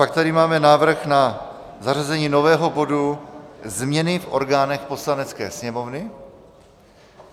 Pak tady máme návrh na zařazení nového bodu - Změny v orgánech Poslanecké sněmovny.